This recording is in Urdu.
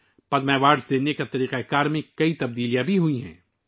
پدم ایوارڈ دینے کے نظام میں بہت سی تبدیلیاں لائی گئی ہیں